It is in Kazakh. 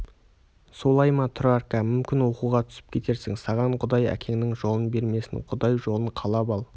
солай ма тұрарка мүмкін оқуға түсіп кетерсің саған құдай әкеңнің жолын бермесін құдай жолын қалап ал